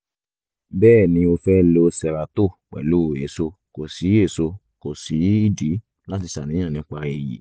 bẹ́ẹ̀ ni o fẹ́ lo xeralto pẹ̀lú èso kò sí èso kò sí ìdí láti ṣàníyàn nípa èyí